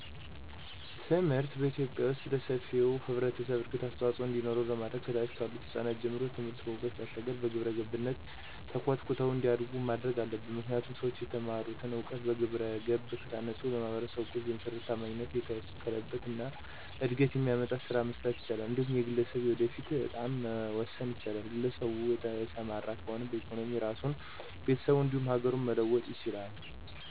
ትምህርትን በኢትዮጲያ ዉስጥ ለሰፊው ህብረተሰብ እድገት አስተዋፅዖ እንዲኖረው ለማድረግ ከታች ካሉት ህጻናት ጀምሮ ትምህርትን ከዕውቀት ባሻገር በግብረገብነት ተኮትኩተው እንዲያዱ ማድረግ አለብን። ምክንያቱም ሠዎች የተማሩትን እውቀት በግብረገብ ከታነፀ ለማህበረሰቡ በእውቀት የተመሰረተ፣ ታማኝነት የታከለበት እና እድገትን የሚያመጣ ስራ መስራት ይችላል። እንዲሁም የግለሠቡን የወደፊት እጣም መወሰን ይችላል፤ ግለሰቡ የተማረ ከሆነ በኢኮኖሚ ራሱን፣ ቤተሰቡን እንዲሁም ሀገሩን መለወጥ ይችላል።